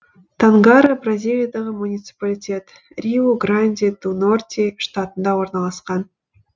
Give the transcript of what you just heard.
тангара бразилиядағы муниципалитет риу гранди ду норти штатында орналасқан